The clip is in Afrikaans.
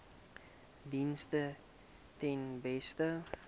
dienste ten beste